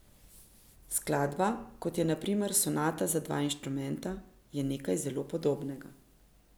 Skladba, kot je na primer sonata za dva instrumenta, je nekaj zelo podobnega.